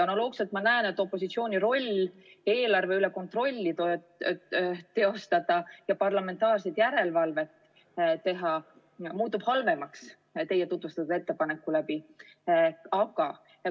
Analoogselt ma näen, et opositsiooni roll eelarve üle kontrolli teostada ja parlamentaarset järelevalvet teha muutub teie tutvustatud ettepaneku tõttu halvemaks.